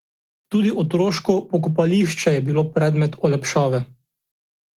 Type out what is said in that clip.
Tudi otoško pokopališče je bilo predmet olepšave.